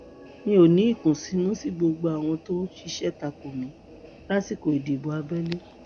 mi ò ní ìkùnsínú sí gbogbo àwọn tó ṣiṣẹ ta kò mí lásìkò ìdìbò abẹlé